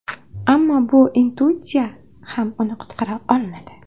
Ammo bu intuitsiya ham uni qutqara olmadi.